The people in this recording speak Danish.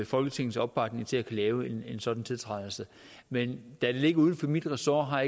folketingets opbakning til at kunne lave en sådan tiltrædelse men da det ligger uden for mit ressort har